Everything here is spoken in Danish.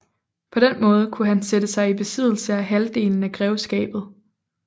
På den måde kunne han sætte sig i besiddelse af halvdelen af grevskabet